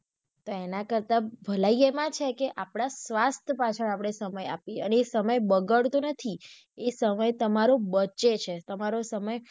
તો એના કરતા ભલાઈ એમાં છે કે આપડા સ્વાસ્થ પાછળ આપડે સમય આપીયે અને એ સમય બગાડતો નથી એ સમય તમારો બચે છે તમારો સમય.